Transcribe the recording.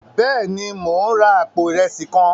Béèni, Mo n rà apó irẹsi kàn